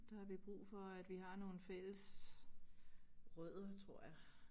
Der har vi brug for at vi har nogle fælles rødder tror jeg